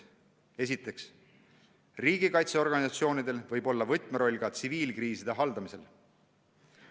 Esiteks, riigikaitseorganisatsioonidel võib olla võtmeroll ka tsiviilkriiside haldamisel.